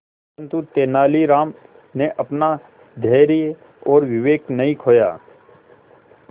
परंतु तेलानी राम ने अपना धैर्य और विवेक नहीं खोया